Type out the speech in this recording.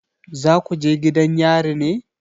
Za ku je gidan yari ne?